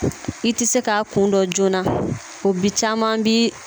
I tɛ se k'a kun dɔn joona u bi caman bi